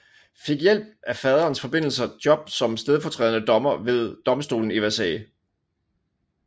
Fik ved hjælp af faderens forbindelser job som stedfortrædende dommer ved domstolen i Versailles